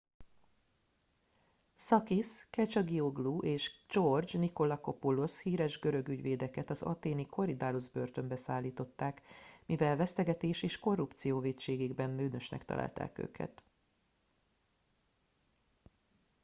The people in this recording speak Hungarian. sakis kechagioglou és george nikolakopoulos híres görög ügyvédeket az athéni korydallus börtönbe szállították mivel vesztegetés és korrupció vétségében bűnösnek találták őket